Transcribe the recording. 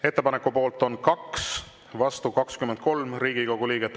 Ettepaneku poolt on 2, vastu 23 Riigikogu liiget.